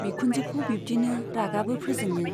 बिखुनजोखौ बिब्दिनो रागाबो फोजोङो।